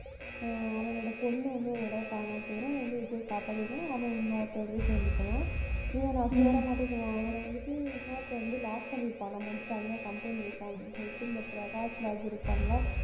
அஹ் அவனோட பொண்ணு வந்து ஒரு தடவை காணாம போயிடும். அதை வந்து விஜய்யை காப்பாத்தி விடுவான். அவன் இன்னொருத்தன் வந்து சேர்ந்துக்குவான். இவன், நான் சேர மாட்டேன்னு சொல்லுவான், இவனை வந்துட்டு இன்னொருத்தன் வந்து lock பண்ணியிருப்பான். நம்ம வந்து தனியா company வைப்போம் அப்படின்னு சொல்லிட்டு இந்த பிரகாஷ்ராஜ் இருப்பான்ல